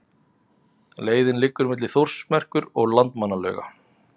Leiðin liggur milli Þórsmerkur og Landmannalauga.